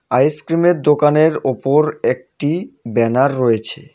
আইসক্রিমের দোকানের উপর একটি ব্যানার রয়েছে.